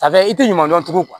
Sayi i tɛ ɲuman dɔn tugun